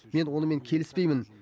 мен онымен келіспеймін